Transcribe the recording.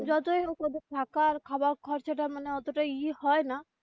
যতই হোক ওদের থাকা র খাওয়া খরচা টা মানে অত টা ই হয় না.